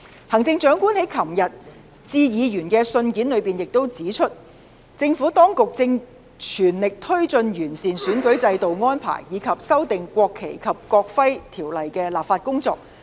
行政長官在昨天致議員的信件裏指出，政府當局正全力推進完善選舉制度的安排，以及修訂《國旗及國徽條例》的立法工作。